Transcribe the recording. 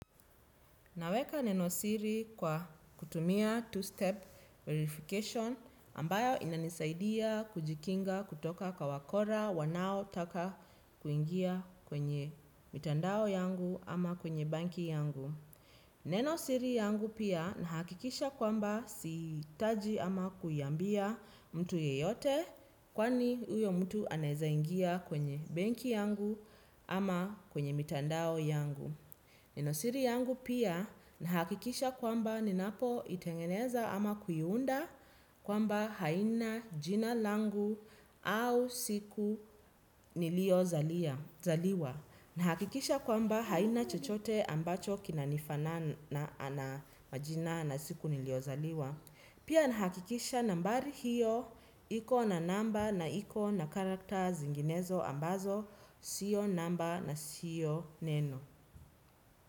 Naweka neno siri kwa kutumia two-step verification ambayo inanisaidia kujikinga kutoka kwa wakora wanaotaka kuingia kwenye mitandao yangu ama kwenye banki yangu. Neno siri yangu pia nahakikisha kwamba sihitaji ama kuiambia mtu yeyote kwani uyo mtu anaeza ingia kwenye banki yangu ama kwenye mitandao yangu. Nenosiri yangu pia nahakikisha kwamba ninapoitengeneza ama kuiunda kwamba haina jina langu au siku niliyozaliwa. Nahakikisha kwamba haina chochote ambacho kinanifanana na majina na siku niliyozaliwa. Pia nahakikisha nambari hiyo iko na namba na iko na karakta zinginezo ambazo sio namba na sio neno.